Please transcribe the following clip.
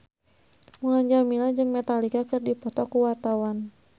Mulan Jameela jeung Metallica keur dipoto ku wartawan